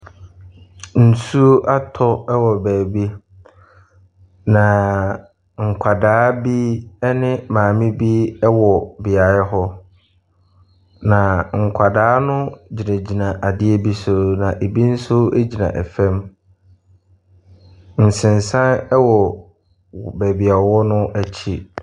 Nsuo atɔ ɛwɔ baabi na nkwadaa bi ɛne maame bi ɛwɔ beaeɛ hɔ. Na nkwadaa no gyinagyina adeɛ bi so ebi nso gyina ɛfam. Nsensan ɛwɔ baabi a ɔwɔ no akyi.